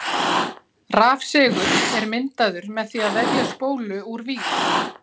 Rafsegull er myndaður með því að vefja spólu úr vír.